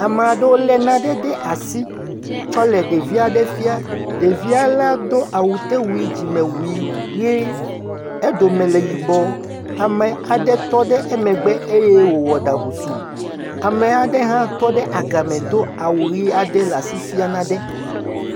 Ame aɖewo le nane le asi tsɔ le ɖevi aɖe fiam. Ɖevia la do awutewui dzimewui ʋi eɖome le yibɔ. Ame aɖe tɔ ɖe emegbe eye wowɔ ɖa ŋusu. Ame aɖe hã tɔ ɖe agame do awu ʋi eye wo le asi fiam nane.